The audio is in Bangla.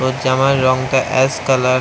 জামার রং টা অ্যাশ কালার --